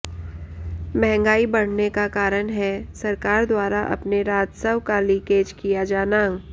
महंगाई बढऩे का कारण है सरकार द्वारा अपने राजस्व का लीकेज किया जाना